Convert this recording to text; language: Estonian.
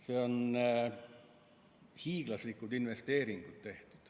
Seal on hiiglaslikud investeeringud tehtud.